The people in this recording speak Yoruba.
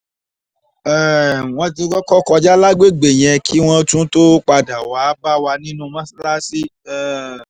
um wọ́n ti kọ́kọ́ kọjá lágbègbè yẹn kí wọ́n tún tóó padà wàá bá wa nínú mọ́sáláàsì um